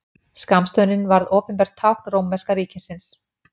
Skammstöfunin varð opinbert tákn rómverska ríkisins.